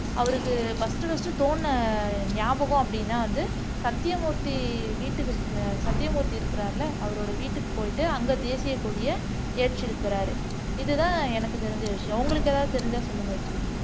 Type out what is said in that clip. அவருக்கு first first தோணுன ஞாபகம் அப்படின்னா வந்து சத்தியமூர்த்தி வீட்டுக்கு சத்தியமூர்த்தி இருக்குறாருல்ல அவரோட வீட்டுக்கு போயிட்டு அங்க தேசிய கொடிய ஏற்றி இருக்கிறாரு இதுதான் எனக்கு தெரிஞ்ச விஷயம் உங்களுக்கு ஏதாவது தெரிஞ்சா சொல்லுங்க ருஷிதா